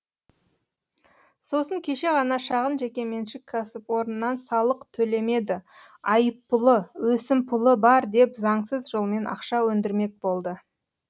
сосын кеше ғана шағын жекеменшік кәсіпорыннан салық төлемеді айыппұлы өсімпұлы бар деп заңсыз жолмен ақша өндірмек болды